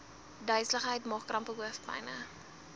duiseligheid maagkrampe hoofpyne